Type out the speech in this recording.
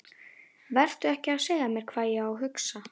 Vertu ekki að segja mér hvað ég á að hugsa!